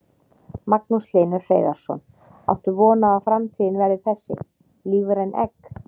Magnús Hlynur Hreiðarsson: Áttu von á að framtíðin verði þessi, lífræn egg?